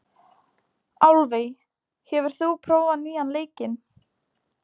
Álfey, hefur þú prófað nýja leikinn?